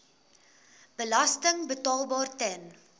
belasting betaalbaar ten